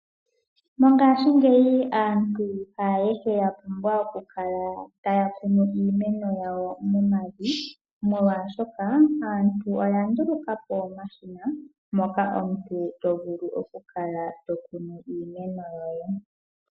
Mongashingeyi aantu haayehe ya pumbwa okukala taya kunu iimeno yawo momavi. Omolwashoka aantu oya nduluka po omashina moka omuntu to vulu oku kala to kunu iimeno yoye.